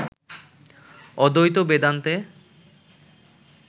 অদ্বৈত বেদান্তে